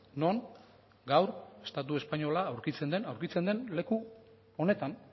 non gaur estatu espainola aurkitzen den aurkitzen den leku honetan